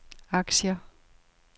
aktier